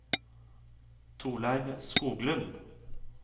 Torleiv Skoglund